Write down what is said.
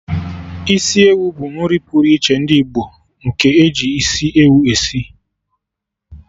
Isiewu bụ nri pụrụ iche ndị Igbo, nke eji isi ewu esi